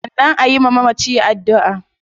Sannan ayi wa mamacin addua